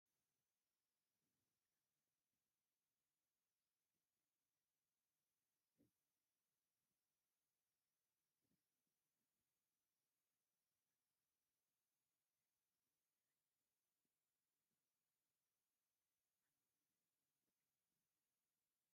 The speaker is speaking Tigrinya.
ካብ ፈትሊ ዝተሰርሐ ሕብራዊን ክቢን ኢደ ጥበብ ኣብ ምርኢት ቀሪቡ ኣሎ። ዝተፈላለዩ ፍሕሶታት ሱፍ – ቡናዊ፡ ቀይሕ፡ ብጫን ቀጠልያን – ኮኾብ ወይ ቅርጺ ጸሓይ ዘለዎ ቅርጺ ይፈጥሩ። ኣብ ማእከል ሓሰር ዝመስል ንብረት ዶ ይራኣየኩም ኣሎ።